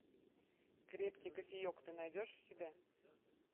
крепкий кофеек ты найдешь у себя